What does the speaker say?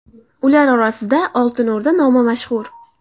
Ular orasida Oltin O‘rda nomi mashhur.